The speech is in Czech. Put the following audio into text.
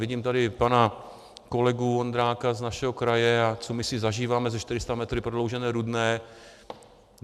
Vidím tady pana kolegu Vondráka z našeho kraje, a co my si zažíváme se 400 metry Prodloužené Rudné.